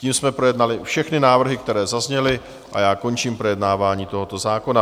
Tím jsme projednali všechny návrhy, které zazněly, a já končím projednávání tohoto zákona.